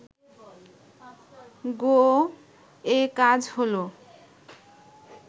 গোঁ এ কাজ হল